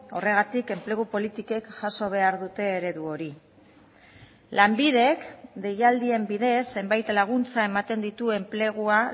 horregatik enplegu politikek jaso behar dute eredu hori lanbidek deialdien bidez zenbait laguntza ematen ditu enplegua